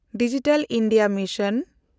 digital India mission